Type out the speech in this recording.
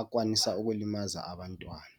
akwanisa ukulimaza abantwana.